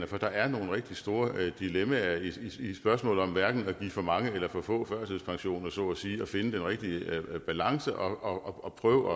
for der er nogle rigtig store dilemmaer i i spørgsmålet om hverken at give for mange eller for få førtidspension så at sige og finde den rigtige balance og og prøve